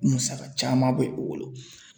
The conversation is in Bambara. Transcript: Musaka caman bɛ u bolo.